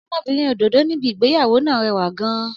Ọmọbìnrin òdòdó níbi ìgbéyàwó náà rẹwà gan-an.